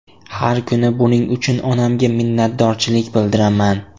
Har kuni buning uchun onamga minnatdorchilik bildiraman”.